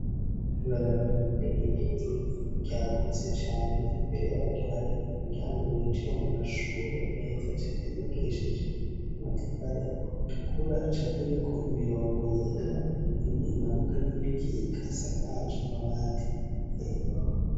Ibarabara rinini ry' ivu ryagutse cane imbere yaryo hari umuryango winjira mu mashuri meza cane yubakishije amatafari atukura acapuyeko imirongo yera imwe imanuka n' iyindi ikika isakaje amabati yera.